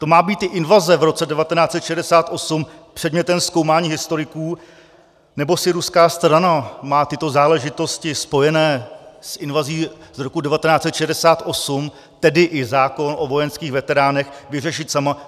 To má být i invaze v roce 1968 předmětem zkoumání historiků, nebo si ruská strana má tyto záležitosti spojené s invazí z roku 1968, tedy i zákon o vojenských veteránech, vyřešit sama?